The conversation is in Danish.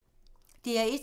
DR1